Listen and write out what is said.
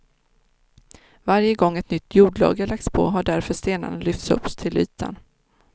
Varje gång ett nytt jordlager lagts på har därför stenarna lyfts upp till ytan.